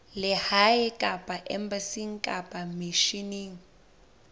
lehae kapa embasing kapa misheneng